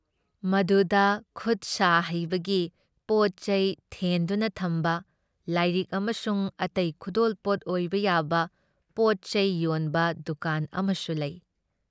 ꯃꯗꯨꯗ ꯈꯨꯠꯁꯥ ꯍꯩꯕꯒꯤ ꯄꯣꯠꯆꯩ ꯊꯦꯟꯗꯨꯅ ꯊꯝꯕ, ꯂꯥꯏꯔꯤꯛ ꯑꯃꯁꯨꯡ ꯑꯇꯩ ꯈꯨꯗꯣꯜꯄꯣꯠ ꯑꯣꯏꯕ ꯌꯥꯕ ꯄꯣꯠꯆꯩ ꯌꯣꯟꯕ ꯗꯨꯀꯥꯟ ꯑꯃꯁꯨ ꯂꯩ ꯫